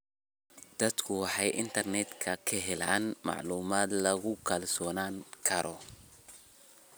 Dadku waxay internetka ka helaan macluumaad lagu kalsoonaan karo.